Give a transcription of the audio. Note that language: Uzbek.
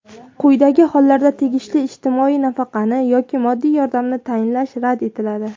Quyidagi hollarda tegishli ijtimoiy nafaqani yoki moddiy yordamni tayinlash rad etiladi:.